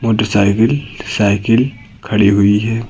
Motorcycle cycle खड़ी हुई है।